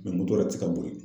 moto yɛrɛ ti ka boli.